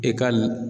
E ka